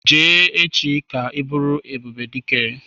Jee echi ga buru Ebubedike!